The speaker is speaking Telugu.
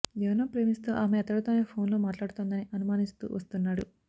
ఎవరినో ప్రేమిస్తూ ఆమె అతడితోనే ఫోన్ లో మాట్లాడుతోందని అనుమానిస్తూ వస్తున్నాడు